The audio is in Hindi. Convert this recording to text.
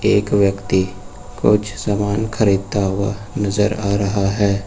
एक व्यक्ति कुछ सामान खरीदता हुआ नजर आ रहा है।